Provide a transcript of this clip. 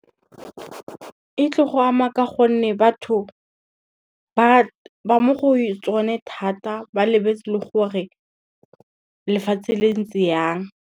E tlo go ama ka gonne batho, ba mo go tsone thata ba lebetse le gore lefatshe le ntse jang.